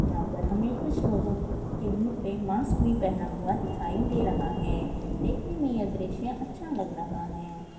यहाँ पर हमे कुछ लोगो के मुह पे मास्क भी पहना हुआ दिखाई दे रहा है देखने मे यह दृश्य अच्छा लग रहा है।